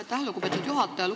Aitäh, lugupeetud juhataja!